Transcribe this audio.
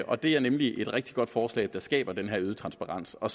og det er nemlig et rigtig godt forslag der skaber den øgede transparens og